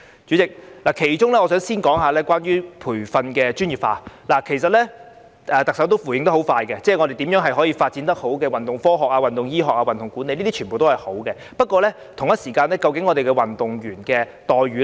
主席，我想先談談培訓專業化，其實特首已迅速作出回應，交代如何好好發展運動科學、運動醫學和運動管理，這些都是好事，不過，可否同時檢視運動員的待遇呢？